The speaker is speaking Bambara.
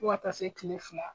Fo ka taa se kile fila